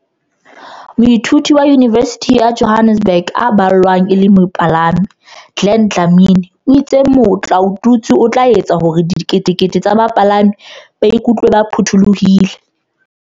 Moithuti wa Yunivesithi ya Johannesburg eo e boelang e le mopalami, Glen Dlamini o itse motlaotutswe o tla etsa hore diketekete tsa bapalami ba iku tlwe ba phuthulohile.